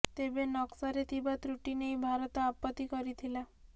ତେବେ ନକ୍ସାରେ ଥିବା ତ୍ରୁଟି ନେଇ ଭାରତ ଆପତ୍ତି କରିଥିଲା